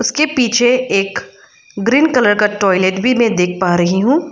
इसके पीछे एक ग्रीन कलर का टॉयलेट भी मैं देख पा रही हूं।